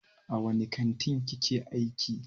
A wani kantin kike aiki?